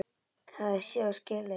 Hafði séð og skilið.